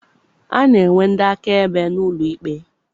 A na-enwe ndị akaebe n'ụlọ ikpe.